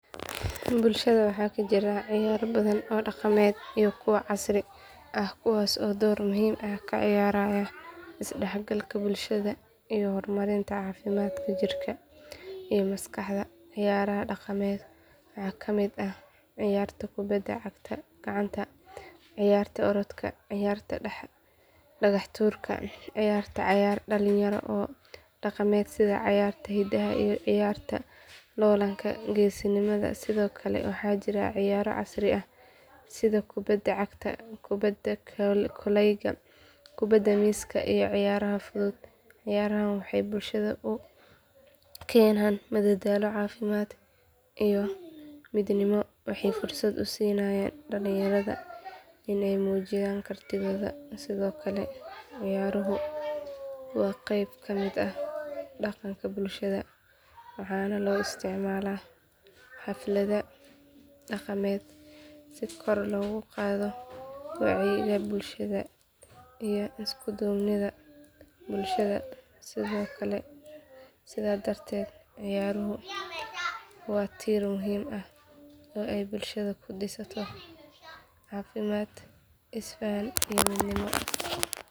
Bulshada waxaa ka jira ciyaaro badan oo dhaqameed iyo kuwo casri ah kuwaas oo door muhiim ah ka ciyaara isdhexgalka bulshada iyo horumarinta caafimaadka jirka iyo maskaxda ciyaaraha dhaqameed waxaa ka mid ah ciyaarta kubadda gacanta ciyaarta orodka ciyaarta dhagax tuurka ciyaarta cayaar dhalinyaro oo dhaqameed sida ciyaarta hiddaha iyo ciyaarta loollanka geesinimada sidoo kale waxaa jira ciyaaro casri ah sida kubadda cagta kubadda kolayga kubadda miiska iyo ciyaaraha fudud ciyaarahan waxay bulshada u keenaan madadaalo caafimaad iyo midnimo waxayna fursad u siinayaan dhalinyarada in ay muujiyaan kartidooda sidoo kale ciyaaruhu waa qayb ka mid ah dhaqanka bulshada waxaana loo isticmaalaa xafladaha dhaqameed si kor loogu qaado wacyiga bulshada iyo isku duubnida bulshada sidaa darteed ciyaaruhu waa tiir muhiim ah oo ay bulshada ku dhisato caafimaad isfahan iyo midnimo.